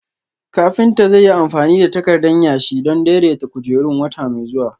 Kafinta zai yi amfani da takardan yashi don daidaita kujerun wata mai zuwa